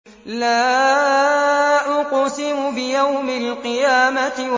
لَا أُقْسِمُ بِيَوْمِ الْقِيَامَةِ